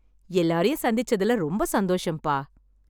எல்லாரையும் சந்திச்சதுல ரொம்ப சந்தோஷம்ப்பா...